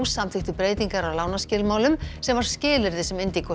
samþykktu breytingar á lánaskilmálum sem var skilyrði sem